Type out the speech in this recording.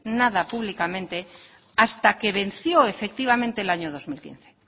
nada públicamente hasta que venció efectivamente el año dos mil quince